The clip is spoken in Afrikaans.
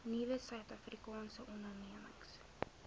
nuwe suidafrikaanse ondernemings